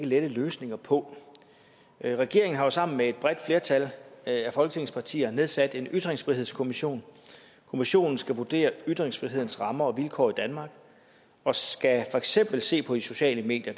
lette løsninger på regeringen har jo sammen med et bredt flertal af folketingets partier nedsat en ytringsfrihedskommission kommissionen skal vurdere ytringsfrihedens rammer og vilkår i danmark og skal for eksempel se på de sociale medier